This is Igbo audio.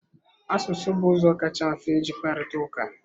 Asụsụ bụ ụzọ kacha mfe iji kparịta ụka.